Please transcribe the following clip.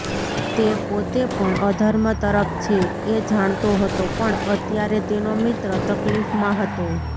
તે પોતે પણ અધર્મ તરફ છે એ જાણતો હતો પણ અત્યારે તેનો મિત્ર તકલીફમાં હતો